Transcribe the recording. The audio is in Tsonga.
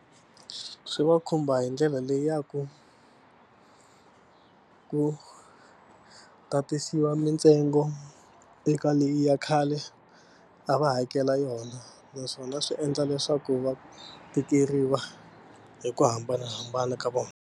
Swi va khumba hi ndlela leyi ya ku ku tatisiwa mitsengo eka leyi ya khale a va hakela yona naswona swi endla leswaku va tikeriwa hi ku hambanahambana ka vona.